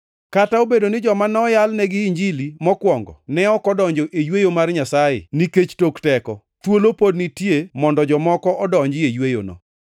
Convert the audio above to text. Kata obedo ni joma noyalnegi Injili mokwongo ne ok odonjo e yweyo mar Nyasaye nikech tok teko, thuolo pod nitie mondo jomoko odonji e yweyono.